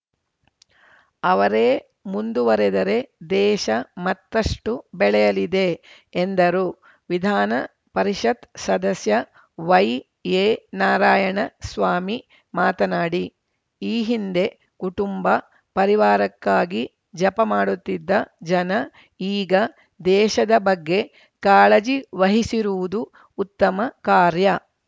ಅವರೇ ಮುಂದುವರೆದರೆ ದೇಶ ಮತ್ತಷ್ಟುಬೆಳೆಯಲಿದೆ ಎಂದರು ವಿಧಾನ ಪರಿಷತ್‌ ಸದಸ್ಯ ವೈಎನಾರಾಯಣ ಸ್ವಾಮಿ ಮಾತನಾಡಿ ಈ ಹಿಂದೆ ಕುಟುಂಬ ಪರಿವಾರಕ್ಕಾಗಿ ಜಪ ಮಾಡುತ್ತಿದ್ದ ಜನ ಈಗ ದೇಶದ ಬಗ್ಗೆ ಕಾಳಜಿ ವಹಿಸಿರುವುದು ಉತ್ತಮ ಕಾರ್ಯ